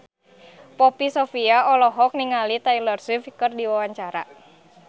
Poppy Sovia olohok ningali Taylor Swift keur diwawancara